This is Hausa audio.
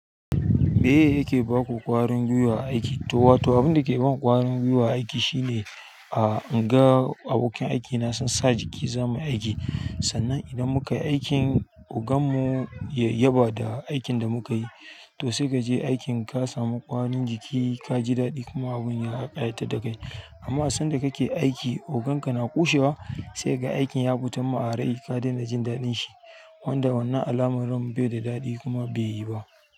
Meye yake baku ƙwarin gwiwa aiki? To wato, abinda ke ban ƙwarin gwiwa a aiki shine a, in ga abokan aikina sun sa jiki zamu yi aiki. Sannan idan muka yi aikin, ogan mu ya yaba da aikin da muka yi, to sai kaje aikin ka samu ƙwarin jiki, ka ji daɗi kuma abun ya ƙayatar da kai. Amma a sanda kake aiki, ogan ka na kushewa, sai ga aikin ya fitan ma arai ka daina jin daɗin shi. Wanda wannan al'amarin bai da daɗi kuma beyi ba.